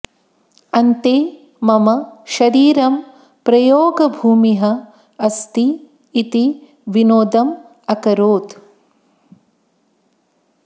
अन्ते मम शरीरं प्रयोगभूमिः अस्ति इति विनोदम् अकरोत्